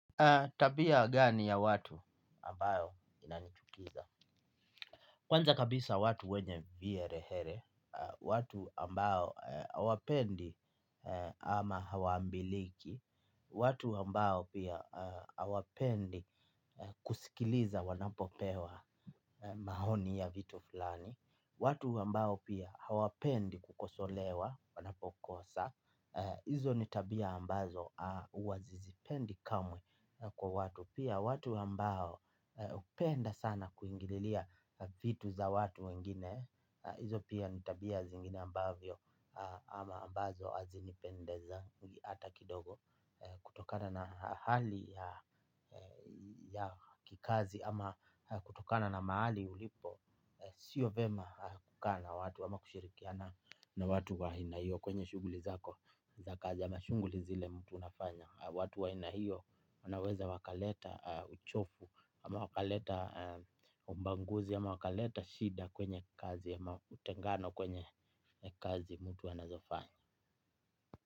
Tabia gani ya watu ambayo inanichukiza? Kwanza kabisa watu wenye viherehere. Watu ambao hawapendi ama hawambiliki. Watu ambao pia hawapendi kusikiliza wanapopewa maoni ya vitu fulani. Watu ambao pia hawapendi kukosolewa wanapokosa. Izo ni tabia ambazo uwasizipendi kamwe kwa watu. Pia watu ambao upenda sana kuingililia vitu za watu wengine. Izo pia nitabia zingine ambavyo ama ambazo azinipendeza hata kidogo. Kutokana na hali ya kikazi ama kutokana na mahali ulipo. Sio vyema kukaa na watu ama kushirikiana na watu wa aina hiyo kwenye shughuli zako. Za kazi ama shughuli zile mtu unafanya au watu wa aina hiyo wanaweza wakaleta uchovu. Ama wakaleta ubaguzi ama wakaleta shida kwenye kazi ama utengano kwenye kazi mtu anazofanya.